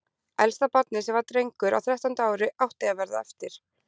Elsta barnið, sem var drengur á þrettánda ári, átti að verða eftir.